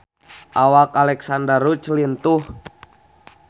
Awak Alexandra Roach lintuh